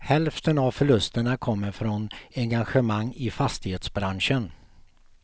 Hälften av förlusterna kommer från engagemang i fastighetsbranschen.